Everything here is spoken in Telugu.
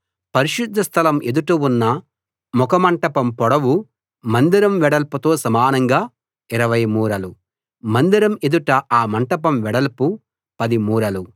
పరిశుద్ధ స్థలం ఎదుట ఉన్న ముఖమంటపం పొడవు మందిరం వెడల్పుతో సమానంగా 20 మూరలు మందిరం ఎదుట ఆ మంటపం వెడల్పు 10 మూరలు